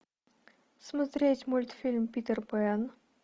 смотреть мультфильм питер пен